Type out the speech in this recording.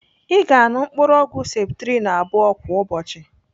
Ị ga-anụ mkpụrụ ọgwụ septrin abụọ kwa ụbọchị.